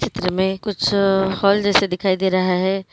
चित्र में कुछ हॉल जैसा दिखाई दे रहा है।